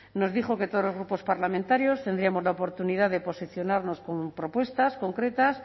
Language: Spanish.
nos dijo que todos los grupos parlamentarios tendríamos la oportunidad de posicionarnos con propuestas concretas